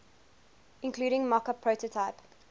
including mockup prototype